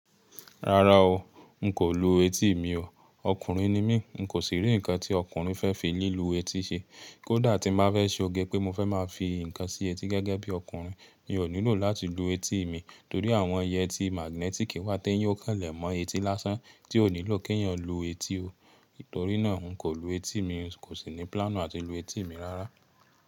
Rárá o, n kò lu etí mi o. Ọkùnrin ni mí, n kò sì rí ǹkan tí ọkùnrin fẹ́ fi lílu etí ṣe. Kódà tí má fẹ́ ṣe oge pé mo fẹ́ má fi ǹkan sí etí gẹ́gẹ́ bí ọkùnrin, mi ò nílò láti lu etí mi torí àwọn yẹtí magnetic wá ti èyàn ó kàn lè mọ etí lásán tí ò nílò kí ẹ̀yin lu etí o. Torí náà, n kò lu etí mi, n kò sì ní plan àti lu etí mi rárá.